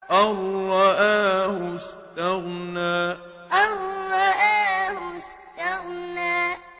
أَن رَّآهُ اسْتَغْنَىٰ أَن رَّآهُ اسْتَغْنَىٰ